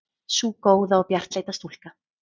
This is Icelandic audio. Sú góða og bjartleita stúlka.